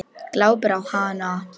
Glápir á hana.